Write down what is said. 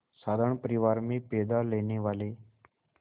साधारण परिवार में पैदा लेने वाले